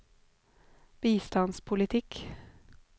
bistandspolitikk